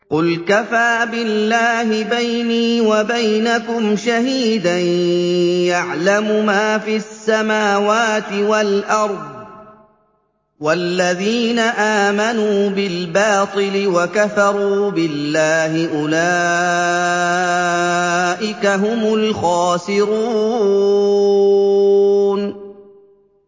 قُلْ كَفَىٰ بِاللَّهِ بَيْنِي وَبَيْنَكُمْ شَهِيدًا ۖ يَعْلَمُ مَا فِي السَّمَاوَاتِ وَالْأَرْضِ ۗ وَالَّذِينَ آمَنُوا بِالْبَاطِلِ وَكَفَرُوا بِاللَّهِ أُولَٰئِكَ هُمُ الْخَاسِرُونَ